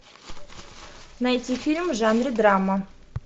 найти фильм в жанре драма